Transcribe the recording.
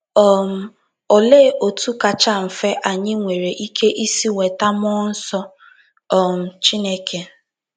um Olee otú kacha mfe anyị nwere ike isi nweta mmụọ nsọ um Chineke?